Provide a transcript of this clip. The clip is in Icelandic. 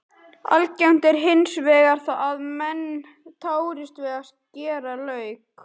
Algengt er hins vegar að menn tárist við að skera lauk.